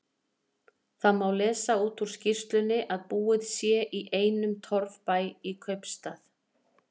Þá má lesa út úr skýrslunni að búið sé í einum torfbæ í kaupstað.